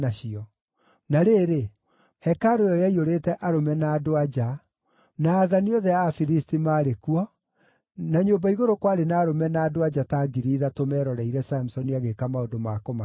Na rĩrĩ, hekarũ ĩyo yaiyũrĩte arũme na andũ-a-nja; na aathani othe a Afilisti maarĩ kuo, na nyũmba igũrũ kwarĩ na arũme na andũ-a-nja ta ngiri ithatũ meroreire Samusoni agĩĩka maũndũ ma kũmakenia.